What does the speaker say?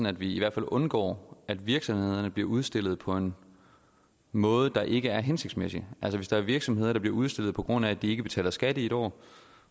at vi i hvert fald undgår at virksomhederne bliver udstillet på en måde der ikke er hensigtsmæssig altså hvis der er virksomheder der bliver udstillet på grund af at de ikke betaler skat i et år